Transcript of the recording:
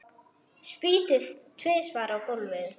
Spýti tvisvar á gólfið.